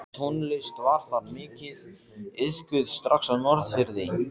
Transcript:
Tónlist var þar mikið iðkuð strax á Norðfirði.